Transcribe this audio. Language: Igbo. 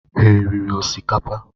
Ha riri osikapa?